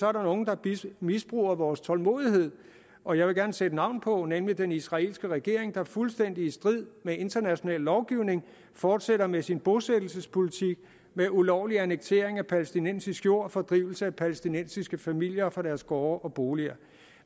er der nogen der misbruger vores tålmodighed og jeg vil gerne sætte navn på nemlig den israelske regering der fuldstændig i strid med international lovgivning fortsætter med sin bosættelsespolitik med ulovlig annektering af palæstinensisk jord og fordrivelse af palæstinensiske familier fra deres gårde og boliger